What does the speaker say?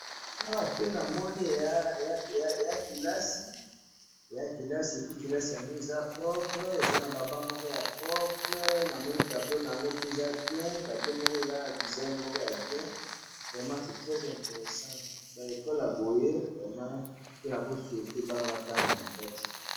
Na moni salle de classe na ba mesa ya bien na tableau kitoko.